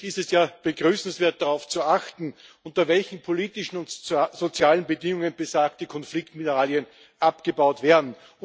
Grundsätzlich ist es ja begrüßenswert, darauf zu achten, unter welchen politischen und sozialen Bedingungen besagte Konfliktmineralien abgebaut werden.